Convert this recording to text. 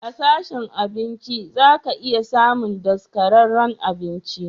A sashen abinci zaka iya samun daskararren abinci.